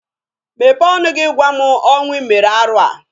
Mepee ọnụ gị gwa m ọnwa i mere arụ a!